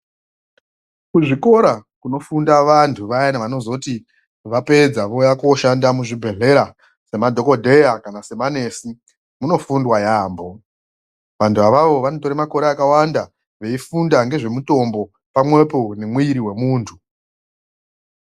Kuzvikora kunofunda vantu vayani vanozoti vapedza vouya kooshanda muzvibhedhlera semadhogodheya kana sema nesi munofundwa yaambo. Vantu avavo vanotore makore akawanda veifunda ngezvemutombo pamwepo nemwiri wemuntu.